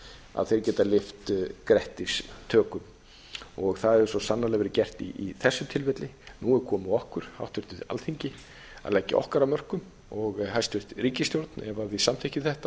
með eldmóð þeir geta lyft grettistökum það hefur svo sannarlega verið gert í þessu tilfelli nú er komið að okkur háttvirtu alþingi að leggja okkar af mörkum og hæstvirtri ríkisstjórn ef við samþykkjum þetta